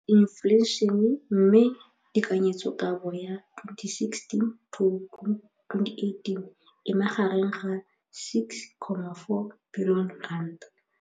Infleišene, mme tekanyetsokabo ya 2017, 18, e magareng ga R6.4 bilione.